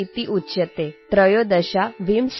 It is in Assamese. सरदारवल्लभभाईपटेलमहोदयः लौहपुरुषः इत्युच्यते